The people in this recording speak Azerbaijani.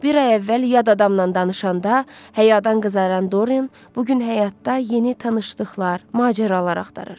Bir ay əvvəl yad adamdan danışanda həyadan qızaran Dorian bu gün həyatda yeni tanışlıqlar, macəralar axtarır.